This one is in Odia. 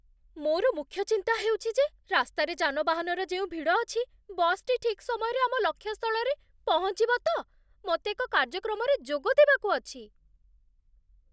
ମୋର ମୁଖ୍ୟ ଚିନ୍ତା ହେଉଛି ଯେ ରାସ୍ତାରେ ଯାନବାହନର ଯେଉଁ ଭିଡ଼ ଅଛି, ବସ୍‌ଟି ଠିକ୍ ସମୟରେ ଆମ ଲକ୍ଷ୍ୟ ସ୍ଥଳରେ ପହଞ୍ଚିବ ତ? ମୋତେ ଏକ କାର୍ଯ୍ୟକ୍ରମରେ ଯୋଗ ଦେବାକୁ ଅଛି।